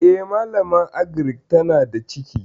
E, malaman agirik tana da ciki.